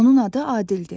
Onun adı Adildir.